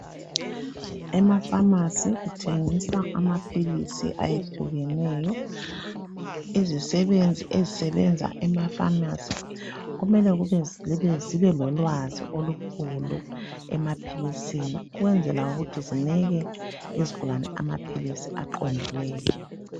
Emafamasi kuthengiswa amaphilisi ayehlukeneyo. Izisebenzi ezisebenza emafamasi kumele zibe lolwazi olukhulu emaphilisini ukwenzela ukuthi zinike izigulane amaphilisi aqondileyo